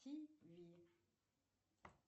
тиви